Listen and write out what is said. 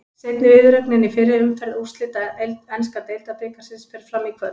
Seinni viðureignin í fyrri umferð úrslita enska deildabikarsins fer fram í kvöld.